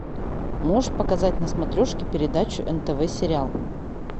можешь показать на смотрешке передачу нтв сериал